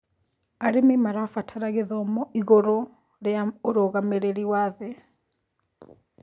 Arĩmĩ marabatara gĩthomo ĩgũrũ rĩa ũrũgamĩrĩrĩ wa thĩĩ